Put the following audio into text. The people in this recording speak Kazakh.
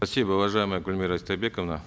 спасибо уважаемая гульмира истайбековна